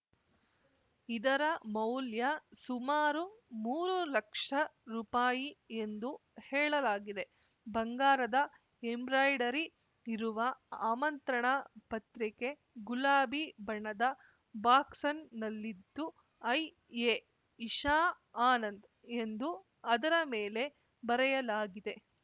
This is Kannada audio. ಇದರ ಮೌಲ್ಯ ಸುಮಾರು ಮೂರು ಲಕ್ಷ ರುಪಾಯಿ ಎಂದು ಹೇಳಲಾಗಿದೆ ಬಂಗಾರದ ಎಂಬ್ರಾಯಿಡರಿ ಇರುವ ಆಮಂತ್ರಣ ಪತ್ರಿಕೆ ಗುಲಾಬಿ ಬಣ್ಣದ ಬಾಕ್ಸ್‌ನ್ ನಲ್ಲಿದ್ದು ಐಎ ಇಶಾಆನಂದ್‌ ಎಂದು ಅದರ ಮೇಲೆ ಬರೆಯಲಾಗಿದೆ